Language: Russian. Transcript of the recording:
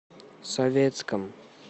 советском